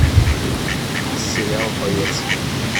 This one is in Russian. сериал боец